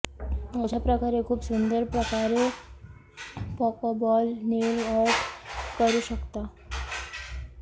अशा प्रकारे खूप सुंदर प्रकारे पोकोबॉल नेल आर्ट करू शकता